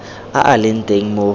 a a leng teng mo